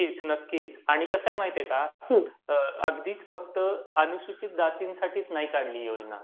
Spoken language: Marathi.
नक्कीच. नक्कीच. आणि कसंय माहीत आहे का? अगदीच फक्त अनुसूचित जातींसाठी नाही काढली ही योजना.